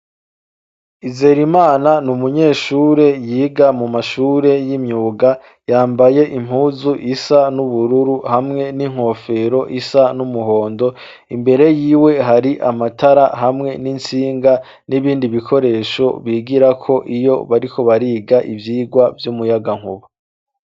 Izerimana ni umunyeshure yiga mu mashure y'imyuga yambaye impuzu isa n'ubururu hamwe n'inkofero isa n'umuhondo imbere y'iwe hari amatara hamwe n'intsinga n'ibindi bikoresho bigira ko iyo bariko bariga ibyigwa by'umuyagankuba.